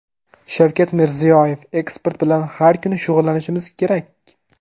Shavkat Mirziyoyev: Eksport bilan har kuni shug‘ullanishimiz kerak!